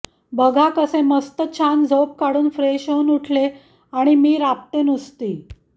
बघा कसे मस्त छान झोप काढून फ्रेश होऊन उठले आणि मी राबते नुसती